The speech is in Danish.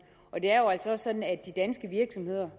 det er jo altså også sådan at de danske virksomheder